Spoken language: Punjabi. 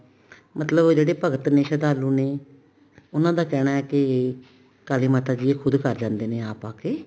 ਮਤਲਬ ਉਹ ਜਿਹੜੇ ਭਗਤ ਨੇ ਸ਼ਰਧਾਲੂ ਨੇ ਉਹਨਾ ਦਾ ਕਹਿਣਾ ਹੈ ਕੇ ਕਾਲੀ ਮਾਤਾ ਜੀ ਇਹ ਖੁਦ ਕਰ ਜਾਂਦੇ ਨੇ ਆਪ ਆ ਕੇ